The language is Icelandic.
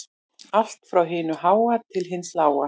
Allt frá hinu háa til hins lága